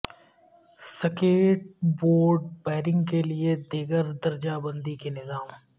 skate board bearing کے لئے دیگر درجہ بندی کے نظام